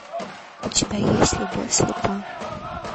у тебя есть любовь слепа